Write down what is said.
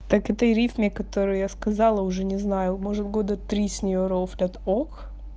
так этой рифме которую я сказала уже не знаю может года три с неё рофлят ок